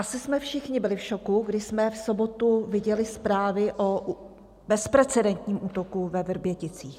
Asi jsme všichni byli v šoku, když jsme v sobotu viděli zprávy o bezprecedentním útoku ve Vrběticích.